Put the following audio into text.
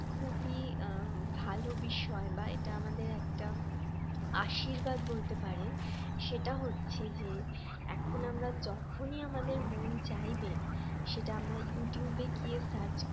খুবই ভালো বিষয় বা এটা আমাদের একটা আশীর্বাদ বলতে পারেন সেটা হচ্ছে যে এখন আমরা যখনই আমাদের মন চাইবে সেটা আমরা ইউটিউবে গিয়ে search